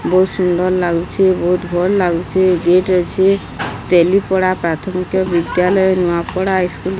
ବହୁତ ସୁନ୍ଦର୍ ଲାଗୁଚି ବୋହୁତ ଭଲ ଲାଗୁଚି ଗେଟ୍ ଅଛି ତେଲି ପଡ଼ା ପ୍ରାଥମିକ ବିଦ୍ୟାଳୟ ନୂଆପଡ଼ା ଇସ୍କୁଲ୍ --